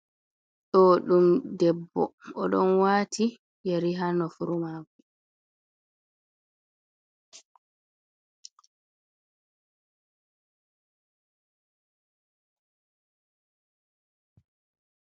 ɗo ɗum debbo oɗon wati yeri haa nofurumako.